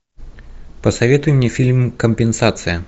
посоветуй мне фильм компенсация